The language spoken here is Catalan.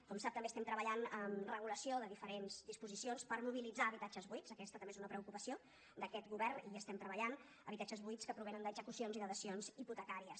com sap també estem treballant amb regulació de diferents disposicions per mobilitzar habitatges buits aquesta també és una preocupació d’aquest govern hi estem treballant habitatges buits que provenen d’execucions i de dacions hipotecàries